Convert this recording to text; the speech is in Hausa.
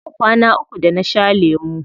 Yau kwana uku da na sha lemu.